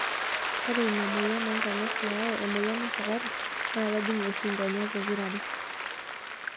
Ore ina moyian oonkonyek nayau emoyian esukari naa kejing' oshi nkonyek pokira are.